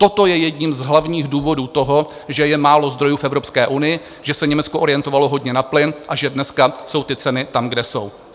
Toto je jedním z hlavních důvodů toho, že je málo zdrojů v Evropské unii, že se Německo orientovalo hodně na plyn a že dneska jsou ty ceny tam, kde jsou.